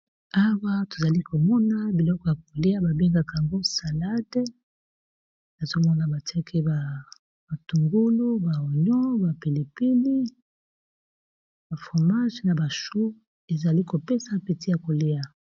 Awa tozali komona biloko ya kolia, babengaka yango salade, ezomona batiaki ba batungulu, ba onion, ba pilipili, ba fromage, na bachu. Ezali kopesa appetit ya kolia.